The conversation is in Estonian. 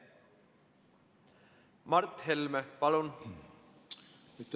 Mart Helme, palun!